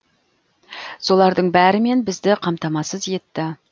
солардың бәрімен бізді қамтамасыз етті